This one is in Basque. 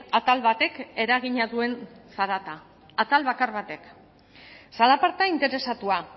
atal batek eragina duen zarata atal bakar batek zalaparta interesatua